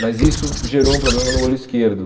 Mas isso gerou um problema no olho esquerdo.